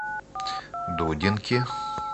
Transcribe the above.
дудинки